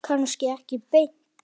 Kannski ekki beint.